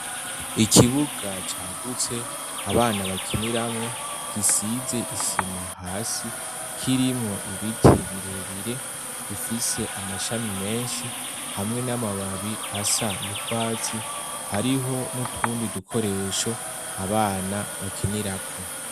Ikibuga cagutse abana bakiniramwo gisize isima hasi kirimo ibiti birebire bifise amashami menshi hamwe n'amababi asa n'ukwatsi hariho n'utundi dukoresho abana bakinirako.